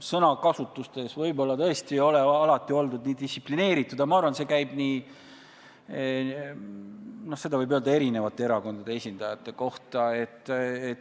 Sõnakasutuses võib-olla tõesti ei ole alati oldud nii distsiplineeritud, aga ma arvan, et seda võib öelda eri erakondade esindajate kohta.